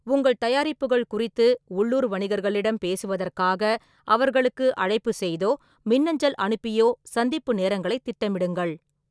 உங்கள் தயாரிப்புகள் குறித்து உள்ளூர் வணிகர்களிடம் பேசுவதற்காக அவர்களுக்கு அழைப்புச் செய்தோ மின்னஞ்சல் அனுப்பியோ சந்திப்பு நேரங்களைத் திட்டமிடுங்கள்.